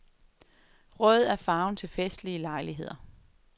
Rød er farven til festlige lejligheder.